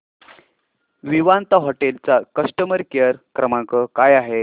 Vivanta hotel चा customer care क्रमांक काय आहे